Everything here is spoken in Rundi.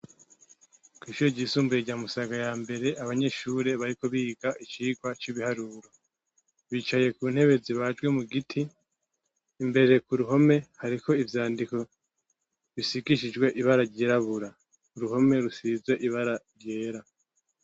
Kw'ishuri ry'isumbuye rya Musaga yambere , abanyeshure bariko biga icirwa c'ibiharuro bicaye kuntebe zibajwe mu Giti mbere kuruhome hariko ivyandiko bisigishijwe irangi ryirabura Uruhome rusize ibara ryera.